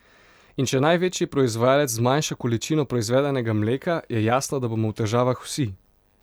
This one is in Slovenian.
In če največji proizvajalec zmanjša količino proizvedenega mleka, je jasno, da bomo v težavah vsi.